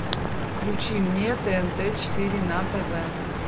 включи мне тнт четыре на тв